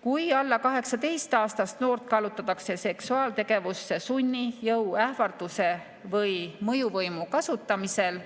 Kui alla 18‑aastast noort kallutatakse seksuaaltegevusse sunni, jõu, ähvarduse või mõjuvõimu kasutamisel,